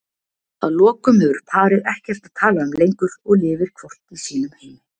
Að lokum hefur parið ekkert að tala um lengur og lifir hvort í sínum heimi.